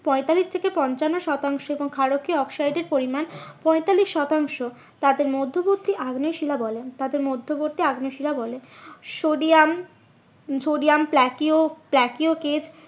পঁয়তাল্লিশ থেকে পঞ্চানন শতাংশ এবং ক্ষারকীয় অক্সাইডের পরিমান পঁয়তাল্লিশ শতাংশ তাকে মধ্যবর্তী আগ্নেয় শিলা বলে তাকে মধ্যবর্তী আগ্নেয় শিলা বলে। সোডিয়াম উম সোডিয়াম প্লাকিয়, প্লাকিয়